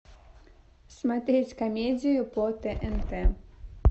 смотреть комедию по тнт